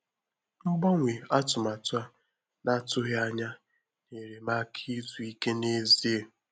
Mgbanwe atụmatụ a na-atụghị anya nyere m áká izu íké n’ezie.